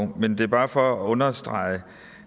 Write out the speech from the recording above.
men det er bare for at understrege